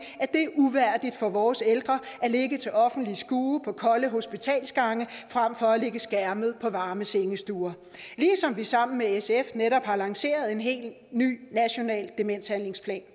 at det er uværdigt for vores ældre at ligge til offentligt skue på kolde hospitalsgange frem for at ligge skærmet på varme sengestuer ligesom vi sammen med sf netop har lanceret en helt ny national demenshandlingsplan